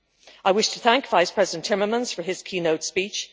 I wish to thank First Vice-President Timmermans for his keynote speech.